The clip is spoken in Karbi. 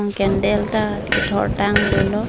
candle ta kethor tang dolo.